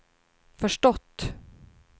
förstått